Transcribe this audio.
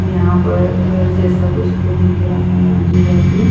यहाँ पर घर जैसा कुछ तो दिख रहा है आजु बाजु।